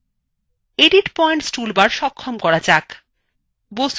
edit points toolbar সক্ষম করা যাক